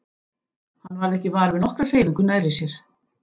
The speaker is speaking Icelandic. Hann varð ekki var við nokkra hreyfingu nærri sér.